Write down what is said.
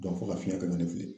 fo ka fiɲɛ kɛ n'o ye ne fili .